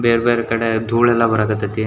ಬೇರೆ ಬೇರೆ ಕಡೆ ಧೂಳ್ ಎಲ್ಲ ಬರಾಕ್ ಹತ್ತಾಯಿತಿ.